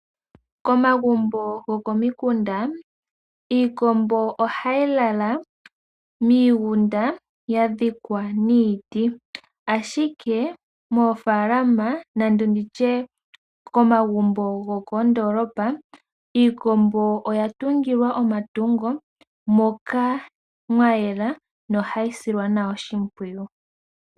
Komagumbo gokomikunda, iikombo ohayi lala miigunda ya dhikwa niiti, ashike moofaalama nando nditye komagumbo go koondoolopa, iikombo oya tungilwa omatungo moka mwa yela nohayi silwa nawa oshimpwiyu.